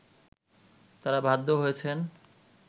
তারা বাধ্য হয়েছেন